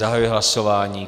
Zahajuji hlasování.